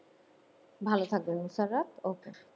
ভালো থাকবেন okay